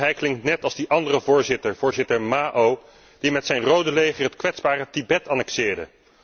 Hij klinkt net als die andere voorzitter, voorzitter Mao, die met zijn Rode Leger het kwetsbare Tibet annexeerde.